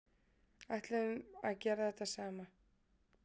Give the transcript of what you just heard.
Ætluðum að gera þetta saman